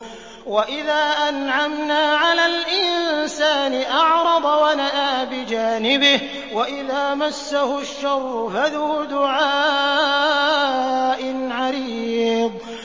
وَإِذَا أَنْعَمْنَا عَلَى الْإِنسَانِ أَعْرَضَ وَنَأَىٰ بِجَانِبِهِ وَإِذَا مَسَّهُ الشَّرُّ فَذُو دُعَاءٍ عَرِيضٍ